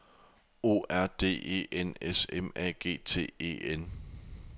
O R D E N S M A G T E N